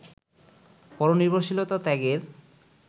পরনির্ভরশীলতা ত্যাগের